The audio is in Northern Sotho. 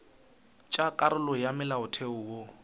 tša karolo ya molaotheo wo